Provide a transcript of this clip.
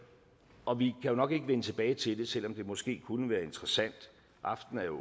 og vi jo nok ikke vende tilbage til det selv om det måske kunne være interessant aftenen er